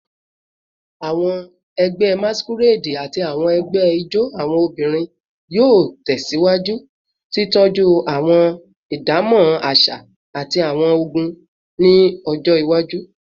Awọn ẹgbẹ Masquerade ati awọn ẹgbẹ ijó awọn obinrin yoo tẹsiwaju titọju awọn idamọ aṣa ati awọn ogún ni ọjọ iwaju